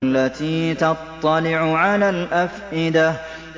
الَّتِي تَطَّلِعُ عَلَى الْأَفْئِدَةِ